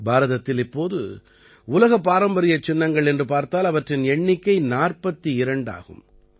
பாரதத்தில் இப்போது உலகப் பாரம்பரியச் சின்னங்கள் என்று பார்த்தால் அவற்றின் எண்ணிக்கை 42 ஆகும்